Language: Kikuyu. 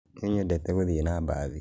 Nĩnyendete gũthiĩ na mbathi